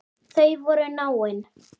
Þau voru náin.